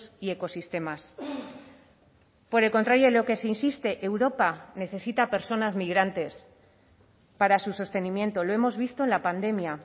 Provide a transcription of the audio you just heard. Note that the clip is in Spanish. y ecosistemas por el contrario en lo que se insiste europa necesita personas migrantes para su sostenimiento lo hemos visto en la pandemia